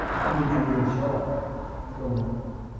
кристина ничего не обещала никому